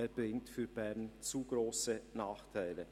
Er bringt für Bern zu grosse Nachteile.